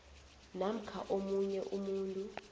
namkha omunye umuntu